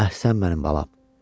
Əhsən mənim balam!